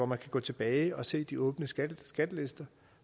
man kan gå tilbage og se de åbne skattelister